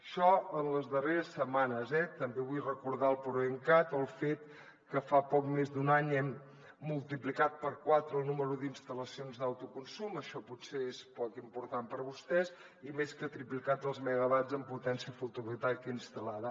això en les darreres setmanes eh també vull recordar el proencat o el fet que fa poc més d’un any hem multiplicat per quatre el nombre d’instal·lacions d’autoconsum això potser és poc important per a vostès i més que triplicat els megawatts en potència fotovoltaica instal·lada